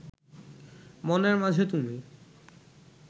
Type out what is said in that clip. মনের মাঝে তুমি